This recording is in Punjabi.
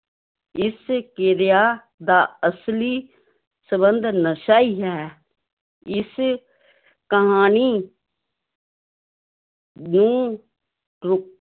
ਇਸ ਕਿਰਿਆ ਦਾ ਅਸਲੀ ਸੰਬੰਧ ਨਸ਼ਾ ਹੀ ਹੈ, ਇਸ ਕਹਾਣੀ ਨੂੰ ਰ